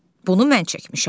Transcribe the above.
Bunu mən çəkmişəm.